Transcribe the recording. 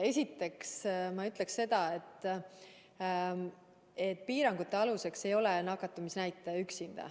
Esiteks ma ütleksin seda, et piirangute aluseks ei ole ainuüksi nakatumisnäitaja.